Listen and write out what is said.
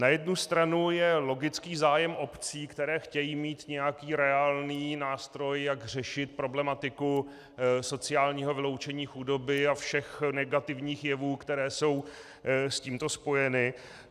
Na jednu stranu je logický zájem obcí, které chtějí mít nějaký reálný nástroj, jak řešit problematiku sociálního vyloučení, chudoby a všech negativních jevů, které jsou s tímto spojeny.